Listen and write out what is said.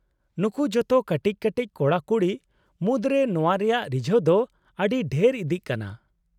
-ᱱᱩᱠᱩ ᱡᱚᱛᱚ ᱠᱟᱹᱴᱤᱡ ᱠᱟᱹᱴᱤᱡ ᱠᱚᱲᱟ ᱠᱩᱲᱤ ᱢᱩᱫᱽᱨᱮ ᱱᱚᱶᱟ ᱨᱮᱭᱟᱜ ᱨᱤᱡᱷᱟᱹᱣ ᱫᱚ ᱟᱹᱰᱤ ᱰᱷᱮᱨ ᱤᱫᱤᱜ ᱠᱟᱱᱟ ᱾